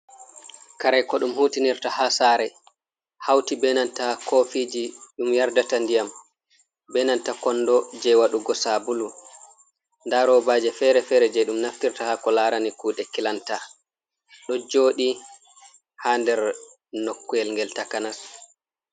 Kare ko ɗum hutinirta haa saare, hawti benanta kofiiji ɗum yardata ndiyam, benanta konndo jey waɗugo sabulu. Ndaa robaaje fere-fere jey ɗum naftirta haa ko laarani kuɗe kilanta, ɗo jooɗi haa nder nokkuyel ngel takanas.